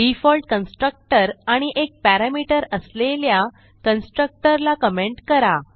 default constructor आणि एक parameter असलेल्या कन्स्ट्रक्टर ला कमेंट करा